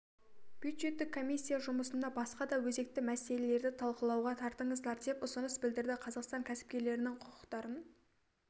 бюджеттік комиссия жұмысына басқа да өзекті мәселелерді талқылауға тартыңыздар деп ұсыныс білдірді қазақстан кәсіпкерлерінің құқықтарын